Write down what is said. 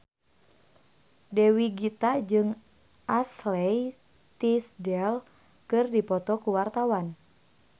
Dewi Gita jeung Ashley Tisdale keur dipoto ku wartawan